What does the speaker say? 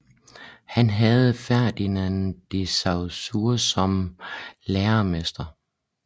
Han havde Ferdinand de Saussure som lærermester